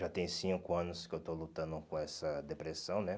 Já tem cinco anos que eu estou lutando com essa depressão, né?